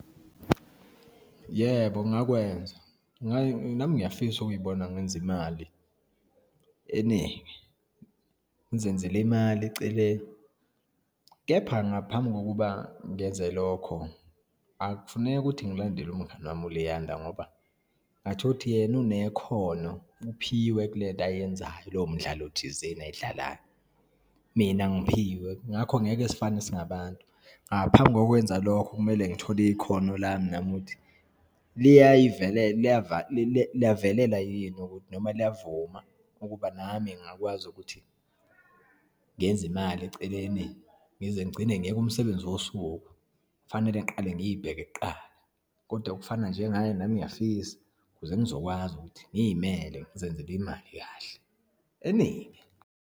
Yebo, ngakwenza nami ngiyafisa ukuyibona ngenza imali eningi. Ngizenzele imali eceleni, kepha ngaphambi kokuba ngenze lokho, akufuneki ukuthi ngilandele umngani wami uLiyanda ngoba ungathola ukuthi yena unekhono, uphiwe kulento ayenzayo, lowo mdlalo thizeni ayidlalayo. Mina angiphiwe, ngakho ngeke sifane singabantu. Ngaphambi kokwenza lokho kumele ngithole ikhono lami nami, ukuthi liyavala, liyavelela yini ukuthi noma liyavuma ukuba nami ngingakwazi ukuthi ngenze imali eceleni, ngize ngigcine ngeyike umsebenzi wosuku. Kufanele ngiqale ngiyibheke kuqala, kodwa okufana njengaye, nami ngiyafisa ukuze ngizokwazi ukuthi ngiyimele, ngizenzele imali kahle, eningi.